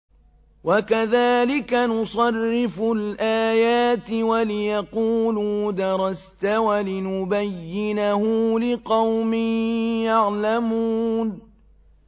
وَكَذَٰلِكَ نُصَرِّفُ الْآيَاتِ وَلِيَقُولُوا دَرَسْتَ وَلِنُبَيِّنَهُ لِقَوْمٍ يَعْلَمُونَ